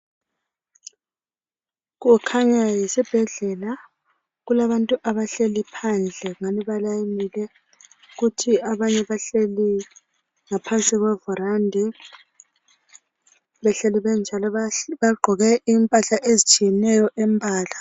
Kukhanya yisibhedlela kulabantu abahleli phandle ngani balayinile kuthi abanye bahleli ngaphansi kwevirandi behleli benjalo bagqoke impahla ezitshiyeneyo imbala.